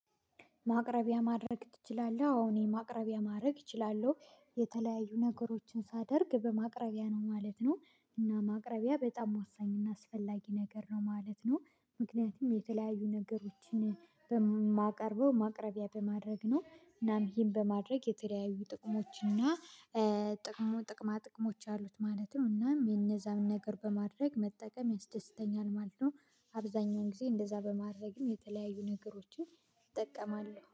ማቅረቢያ ማድረግ ትችላለህ? አዎ ማቅረቢያ ማድረግ እችላለሁ። የተለያዩ ነገሮችን ሳደርግ በማቅረቢያ ነው ማለት ነው። እና ማቅረቢያ በጣም ወሳኝ እና አስፈላጊ ነገር ነው ማለት ነው። ምክንያቱም የተለያዩ ነገሮችን በማቀርበው ማቅረቢያ በማድረግ ነው። እናም ይሄን በማድረግ የተለያዩ ጥቅሞች እና ጥቅሙ ጥቅማ ጥቅሞች አሉት ማለት ነው። እናም የነዛም ነገር በማድረግ መጠቀም ያስደስተኛል ማለት ነው። አብዛኛውን ጊዜ እንደዛ በማድረግም የተለያዩ ነገሮችን እጠቀማለሁ።